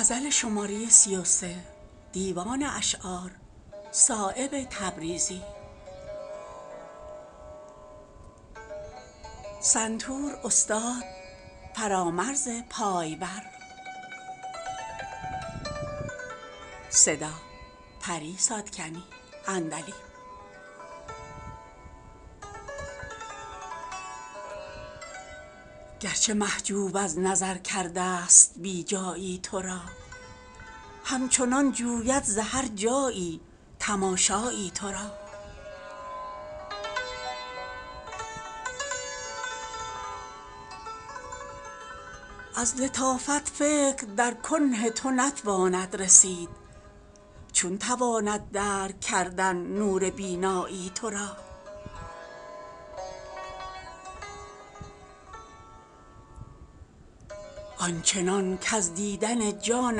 گر چه محجوب از نظر کرده است بی جایی ترا همچنان جوید ز هر جایی تماشایی ترا از لطافت فکر در کنه تو نتواند رسید چون تواند درک کردن نور بینایی ترا آنچنان کز دیدن جان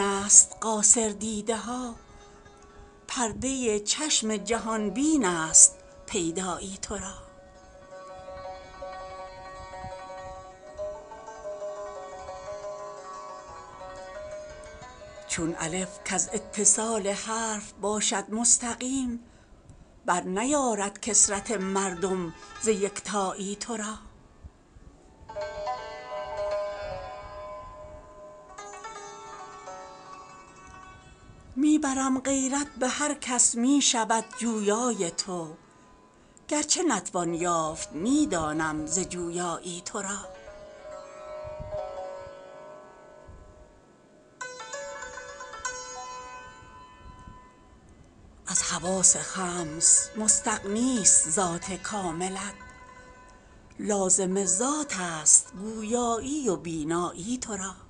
است قاصر دیده ها پرده چشم جهان بین است پیدایی ترا چون الف کز اتصال حرف باشد مستقیم بر نیارد کثرت مردم ز یکتایی ترا می برم غیرت به هر کس می شود جویای تو گر چه نتوان یافت می دانم ز جویایی ترا از حواس خمس مستغنی است ذات کاملت لازم ذات است گویایی و بینایی ترا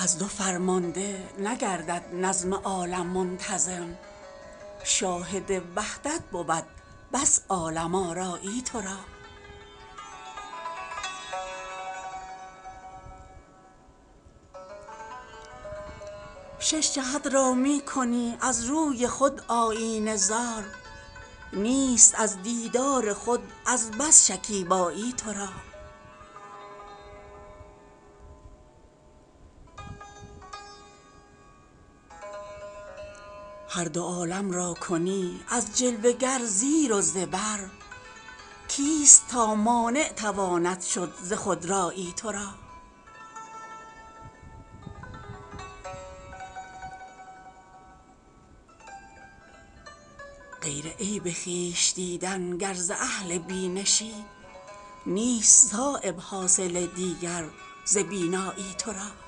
از دو فرمانده نگردد نظم عالم منتظم شاهد وحدت بود بس عالم آرایی ترا شش جهت را می کنی از روی خود آیینه زار نیست از دیدار خود از بس شکیبایی ترا هر دو عالم را کنی از جلوه گر زیر و زبر کیست تا مانع تواند شد ز خودرایی ترا غیر عیب خویش دیدن گر ز اهل بینشی نیست صایب حاصل دیگر ز بینایی ترا